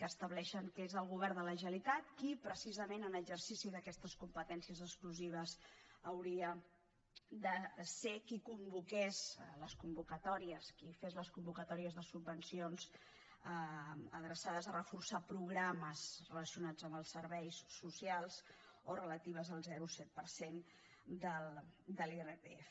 que estableixen que és el govern de la generalitat qui precisament en exercici d’aquestes competències exclusives hauria de ser qui convoqués qui fes les convocatòries de subvencions adreçades a reforçar programes relacionats amb els serveis socials o relatives al zero coma set per cent de l’irpf